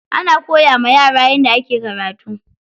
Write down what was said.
Ana koya wa yara yadda ake karatu.